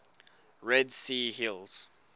red sea hills